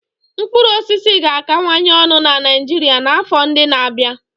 Mkpụrụ osisi ga-akawanye ọnụ na Niijiria n'afọ ndị n'abia.